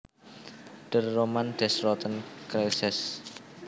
Der Roman des Roten Kreuzes